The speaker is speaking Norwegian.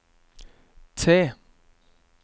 T